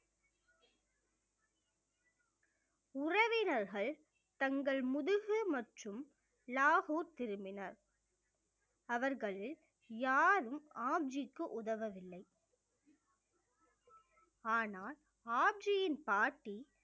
உறவினர்கள் தங்கள் முதுகு மற்றும் லாகூர் திரும்பினர் அவர்களில் யாரும் ஆப்ஜிக்கு உதவவில்லை ஆனால் ஆப்ஜியின் பாட்டி